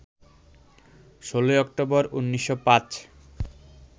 ১৬ October, ১৯০৫